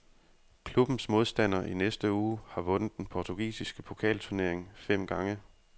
Klubbens modstander i næste uge har vundet den portugisiske pokalturnering fem gange.